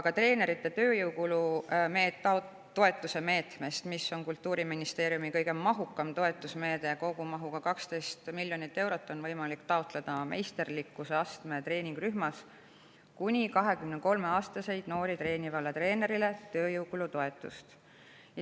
Ka treeneri tööjõukulu toetuse meetmest, mis on Kultuuriministeeriumi kõige mahukam toetusmeede kogumahuga 12 miljonit eurot, on võimalik taotleda meisterlikkuse astme treeningrühmas kuni 23‑aastaseid noori treenivale treenerile tööjõukulu toetust.